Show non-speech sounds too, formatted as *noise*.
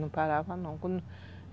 Não parava, não *unintelligible*